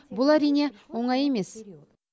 бұл әрине оңай емес